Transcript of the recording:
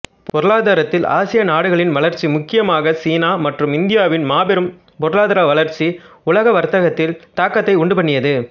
பொருளாதாரத்தில் ஆசிய நாடுகளின் வளர்ச்சி முக்கியமாக சீனா மற்றும் இந்தியாவின் மாபெரும் பொருளாதார வளர்ச்சி உலக வர்த்தகத்தில் தாக்கத்தை உண்டுபண்ணியது